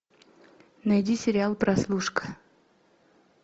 найди сериал прослушка